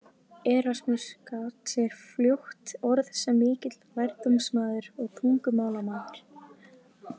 Erasmus gat sér fljótt orð sem mikill lærdómsmaður og tungumálamaður.